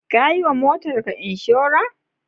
Ka yiwa motarka inshora?